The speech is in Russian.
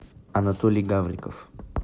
анатолий гавриков